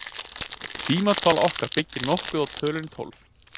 Tímatal okkar byggir nokkuð á tölunni tólf.